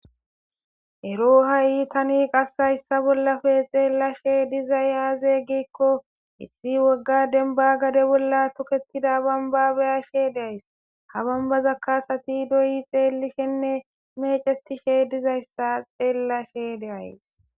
ero ha7i tani qasshayssa bollafe xeellashe diza yaazeggikko issi wogga denba gade bolla toketida bambabaya she days ha bambaza kasati doyi xeelishenne mece tishe dizayssa xeellashe deays